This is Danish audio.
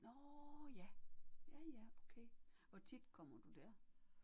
Nåh ja ja ja okay. Hvor tit kommer du der?